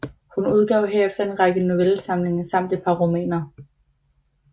Hun udgav herefter en række novellesamlinger samt et par romaner